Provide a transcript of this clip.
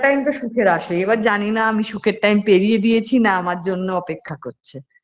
time তো সুখের আসেই এবার আমি জানিনা আমি সুখের time পেরিয়ে দিয়েছি না আমার জন্য অপেক্ষা করছে।